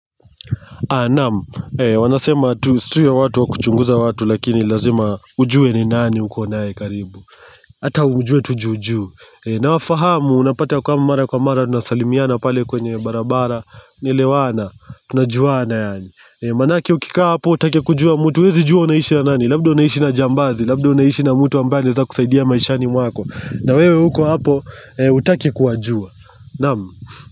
Nam, wanasema tusiwe watu wa kuchunguza watu lakini lazima ujue ni nani huko nae karibu Hata ujue tu juu juu na wafahamu unapata kwa mara kwa mara tunasalimiana pale kwenye barabara Naelewana, tunajuana yaani Manake ukikaa hapo hutaki kujua mtu, wezi juo unaishi na nani Labda unaishi na jambazi, labda unaishi na mtu ambaye za kusaidia maishani mwako na wewe huko hapo utake kuajua Anam.